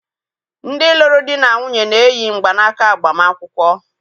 Ndị lụrụ di na nwunye na-eyi mgbanaka agbamakwụkwọ